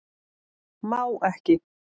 Má ekki